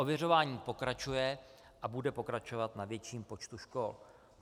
Ověřování pokračuje a bude pokračovat na větším počtu škol.